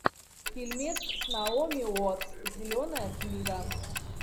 фильмец с наоми уоттс зеленая книга